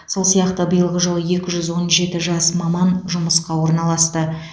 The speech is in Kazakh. сол сияқты биылғы жылы екі жүз он жеті жас маман жұмысқа орналасты